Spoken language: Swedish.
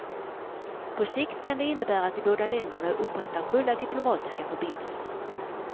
På sikt kan det innebära att de båda länderna upprättar fulla diplomatiska förbindelser.